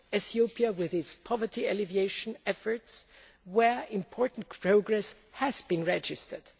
Ethiopia with its poverty alleviation efforts, where important progress has been registered.